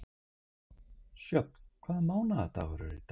Sjöfn, hvaða mánaðardagur er í dag?